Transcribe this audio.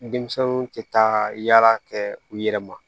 Denmisɛnninw tɛ taa yala kɛ u yɛrɛ ma